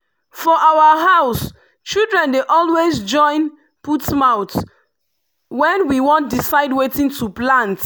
for our house children dey always join put mouth when we wan decide wetin to plant.